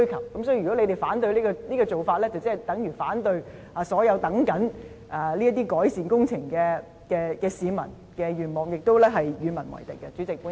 有鑒於此，如果他們反對這種做法，便等於反對所有正在等候這些改善工程的市民的願望，亦是與民為敵。